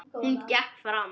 Hún gekk fram.